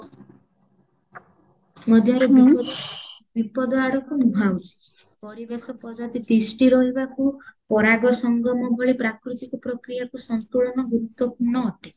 ମଧ୍ୟରେ ବିପଦ ବିପଦ ଆଡକୁ ମୁହାଁଉଚି ପରିବେଶ ପଦ୍ଧତି ତିଷ୍ଟି ରହିବାକୁ ପରାଗ ସଂଗମ ଭଳି ପ୍ରାକୃତିକ ପ୍ରକ୍ରିୟାକୁ ସନ୍ତୁଳନ ଗୁରୁତ୍ଵପୂର୍ଣ୍ଣ ଅଟେ